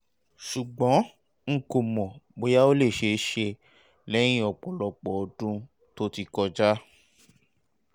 ṣùgbọ́n n kò mọ̀ bóyá ó lè ṣe é ṣe lẹ́yìn ọ̀pọ̀lọpọ̀ ọdún tó ti kọjá